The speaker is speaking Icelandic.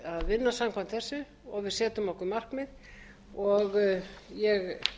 vinna samkvæmt þessu og við setjum okkur markmið og ég